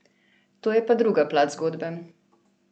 To je pa druga plat zgodbe.